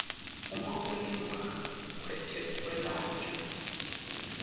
uma kulingwa kwetekwelashwa